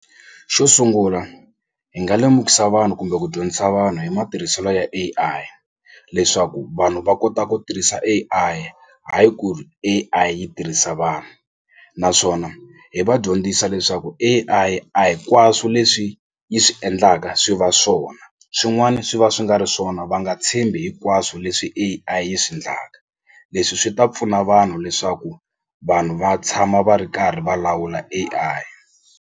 Xo sungula hi nga lemukisa vanhu kumbe ku dyondzisa vanhu hi matirhiselo ya A_I leswaku vanhu va kota ku tirhisa A_I hayi ku ri A_I yi tirhisa vanhu naswona hi va dyondzisa leswaku A_I a hikwaswo leswi yi swi endlaka swi va swona swin'wana swi va swi nga ri swona va nga tshembi hinkwaswo leswi A_I yi swi ndlaka leswi swi ta pfuna vanhu leswaku vanhu va tshama va ri karhi va lawula A_I